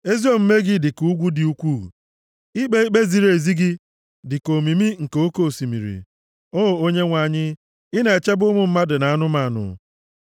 Ezi omume gị dịka ugwu dị ukwuu, ikpe ikpe ziri ezi gị dịka omimi nke oke osimiri. O Onyenwe anyị, ị na-echebe ụmụ mmadụ na anụmanụ.